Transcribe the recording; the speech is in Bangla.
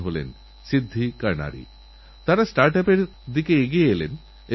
রাজস্থানে পঁচিশ লাখ চারাগাছ লাগানো ছোটোখাটো ব্যাপার নয়